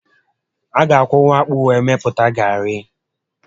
Ị ga akwọnwu akpụ were mepụta garị